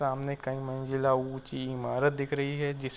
सामने कई मंजिला ऊँची ईमारत दिख रही है जिस --